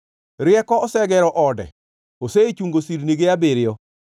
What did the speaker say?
Rieko osegero ode, osechungo sirnige abiriyo.